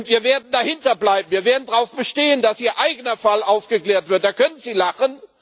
Wir werden dahinter bleiben, wir werden darauf bestehen, dass Ihr eigener Fall aufgeklärt wird da können Sie lachen.